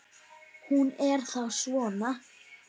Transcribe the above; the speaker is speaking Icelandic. Hún er þá svona!